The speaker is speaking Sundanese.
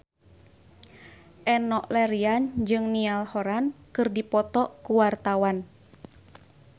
Enno Lerian jeung Niall Horran keur dipoto ku wartawan